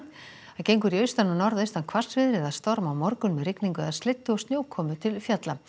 gengur í austan og norðaustan hvassviðri eða storm á morgun með rigningu eða slyddu og snjókomu til fjalla